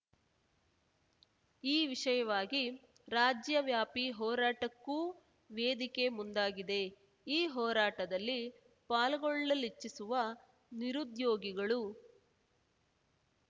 ಈ ವಿಷಯವಾಗಿ ರಾಜ್ಯವ್ಯಾಪಿ ಹೋರಾಟಕ್ಕೂ ವೇದಿಕೆ ಮುಂದಾಗಿದೆ ಈ ಹೋರಾಟದಲ್ಲಿ ಪಾಲ್ಗೊಳ್ಳಲಿಚ್ಛಿಸುವ ನಿರುದ್ಯೋಗಿಗಳು